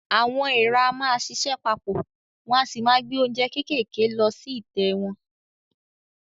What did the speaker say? Àwọn èèrà á máa ṣiṣẹ́ pa pọ̀, wọ́n o sì máa gbé oúnjẹ kéékèèké lọ sí ìtẹ́ wọn.